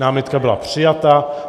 Námitka byla přijata.